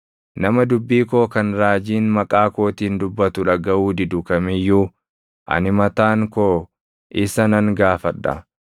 Nama dubbii koo kan raajiin maqaa kootiin dubbatu dhagaʼuu didu kam iyyuu, ani mataan koo isa nan gaafadha.